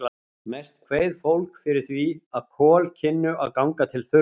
Mest kveið fólk fyrir því, að kol kynnu að ganga til þurrðar.